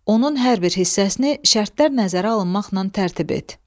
Onun hər bir hissəsini şərtlər nəzərə alınmaqla tərtib et.